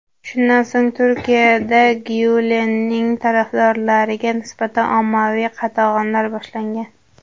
Shundan so‘ng, Turkiyada Gyulenning tarafdorlariga nisbatan ommaviy qatag‘onlar boshlangan.